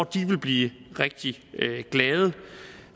de vil blive rigtig glade